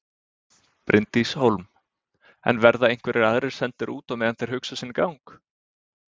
Bryndís Hólm: En verða einhverjir aðrir sendir út á meðan þeir hugsa sinn gang?